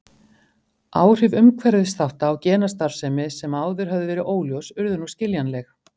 Áhrif umhverfisþátta á genastarfsemi sem áður höfðu verið óljós urðu nú skiljanleg.